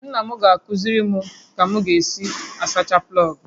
Nna m ga-akụziri m ka m ga-esi asacha plọogụ